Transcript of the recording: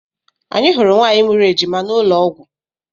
Anyị hụrụ nwaanyị mụrụ ejima n'ụlọọgwụ.